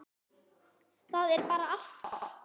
Það er bara allt gott.